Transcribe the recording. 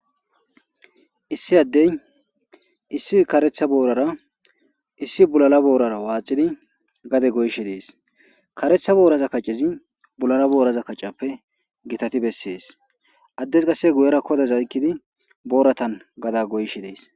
Issi addey issi karetha boorara issi bulale boorara waaxidi gade goyeshe de'eesi.karetha boora kacezi bulale boora kacezappe gitati besses. Addezi qasse guyera kadoza oykkidi booratan gadeza goyishe de'eesi.